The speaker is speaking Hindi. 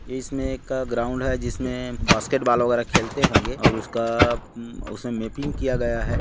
इसमे एक ग्राउंड जिसमे बास्केट बॉल वग़ैरा खेलते होंगे और उसका म उसमे मैपिंग किया गया है।